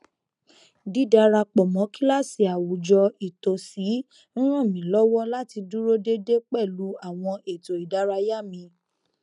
dídarapọ mọ kíláàsì àwùjọ ìtòsí n ràn mí lọwọ láti dúró dédé pẹlú àwọn ètò ìdárayá mi